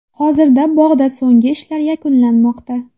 Hozirda bog‘da so‘nggi ishlar yakunlanmoqda.